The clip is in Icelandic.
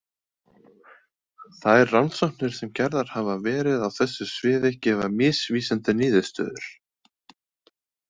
Þær rannsóknir sem gerðar hafa verið á þessu sviði gefa misvísandi niðurstöður.